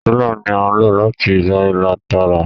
Rúlà ní a lo láti yá ìlà Tààrà.